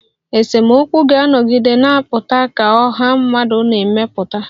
Esemokwu ga-anọgide na-apụta ka ọha mmadụ na-emepụta